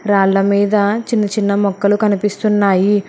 రాళ్ళ మీద చిన్న చిన్న మొక్కలు కనిపిస్తున్నాయి.